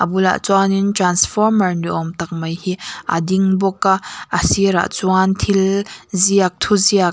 abulah chuanin transformer ni awm tak mai hi a ding bawk a a sirah chuan thil ziak thu ziak --